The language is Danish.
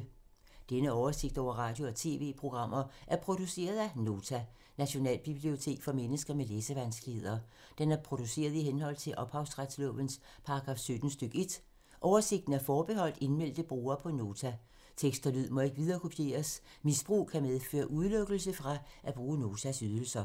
Denne oversigt over radio og TV-programmer er produceret af Nota, Nationalbibliotek for mennesker med læsevanskeligheder. Den er produceret i henhold til ophavsretslovens paragraf 17 stk. 1. Oversigten er forbeholdt indmeldte brugere på Nota. Tekst og lyd må ikke viderekopieres. Misbrug kan medføre udelukkelse fra at bruge Notas ydelser.